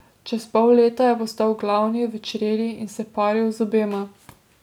Čez pol leta je postal glavni v čredi in se paril z obema.